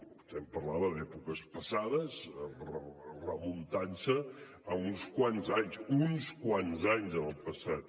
vostè em parlava d’èpoques passades remuntant se a uns quants anys uns quants anys en el passat